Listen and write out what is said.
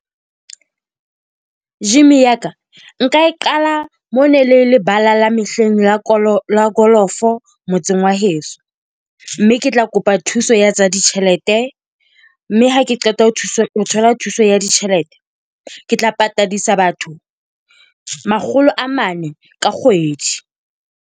Gym ya ka nka e qala moo e ne le lebala la mehleng la lakolofo motseng wa heso. Mme ke tla kopa thuso ya tsa ditjhelete, mme ha ke qeta ho thuswa ho thola thuso ya ditjhelete. Ke tla patadisa batho makgolo a mane ka kgwedi.